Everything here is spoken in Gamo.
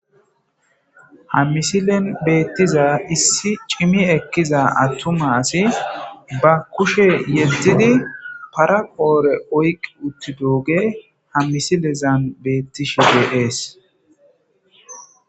hammisilen beettiza issi cimi ekkiza attuma asi ba kushe yeddidi paraqoore oyqi utti dooge hammisilezan beettishe beees